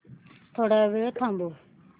थोडा वेळ थांबव